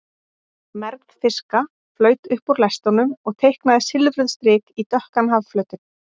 Mergð fiska flaut upp úr lestunum og teiknaði silfruð strik í dökkan hafflötinn.